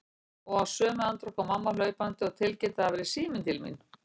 Og í sömu andrá kom mamma hlaupandi og tilkynnti að það væri síminn til mín.